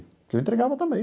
Porque eu entregava também.